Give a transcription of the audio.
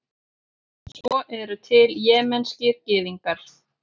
svo eru til jemenskir gyðingar